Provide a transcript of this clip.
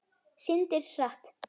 Syndir hratt.